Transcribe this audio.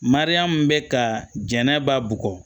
Mariyamu bɛ ka jɛnɛba bugɔ